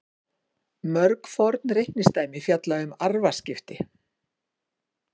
Mörg forn reikningsdæmi fjalla um arfaskipti.